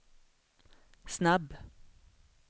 snabb